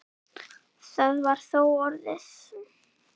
Það var þá orðið!